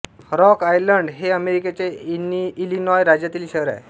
rock Island हे अमेरिकेच्या Illinois राज्यातील शहर आहे